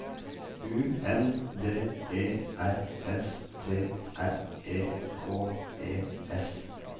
U N D E R S T R E K E S